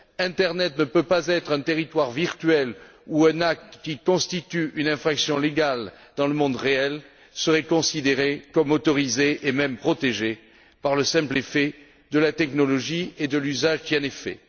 Internet ne peut pas être un territoire virtuel où un acte qui constitue une infraction légale dans le monde réel serait considéré comme autorisé, et même protégé par le simple effet de la technologie et de l'usage qui en est fait.